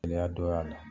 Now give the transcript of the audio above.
Gɛlɛya dɔ y'a la